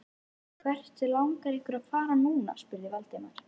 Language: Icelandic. Hvert langar ykkur að fara núna? spurði Valdimar.